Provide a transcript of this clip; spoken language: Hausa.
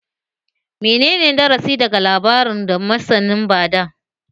Menene darasi daga labarin da masanin ba da?